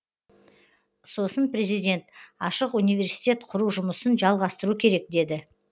сосын президент ашық университет құру жұмысын жалғастыру керек деді